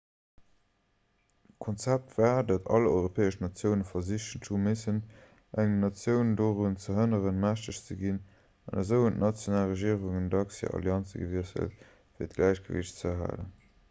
d'konzept war datt all europäesch natioune versichen hu missen eng natioun dorun ze hënneren mächteg ze ginn an esou hunn d'national regierungen dacks hir allianze gewiesselt fir d'gläichgewiicht ze erhalen